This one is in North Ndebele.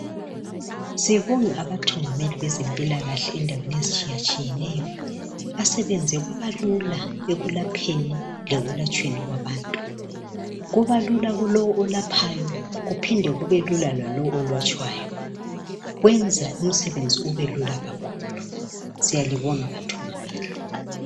Sibonga abathungameli bezempilakahle endaweni ezitshiyatshiyeneyo, asebenze kwaba lula ekulapheni lekulatshweni kwabantu. Kuba lula kulo olaphayo kuphinde kube lula lalo olatshwayo, kwenza umsebenzi ubelula kakhulu. Siyalibonga bathungameli.